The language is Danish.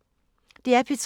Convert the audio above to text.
DR P3